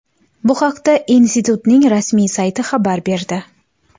Bu haqda institutning rasmiy sayti xabar berdi .